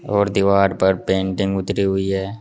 और दीवार पर पेंटिंग उतरी हुई है।